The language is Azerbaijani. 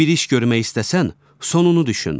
Bir iş görmək istəsən sonunu düşün.